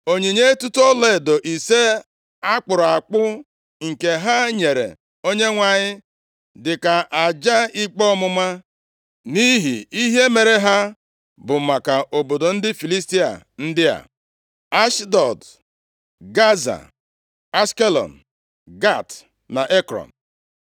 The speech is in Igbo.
Onyinye etuto ọlaedo ise a kpụrụ akpụ nke ha nyere Onyenwe anyị dị ka aja ikpe ọmụma nʼihi ihe mere ha bụ maka obodo ndị Filistia ndị a, Ashdọd, Gaza, Ashkelọn, Gat na Ekrọn.